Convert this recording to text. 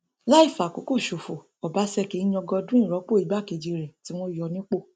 láì fàkókò ṣòfò ọbaṣẹkí yan godwin rọpò igbákejì rẹ tí wọn yọ nípò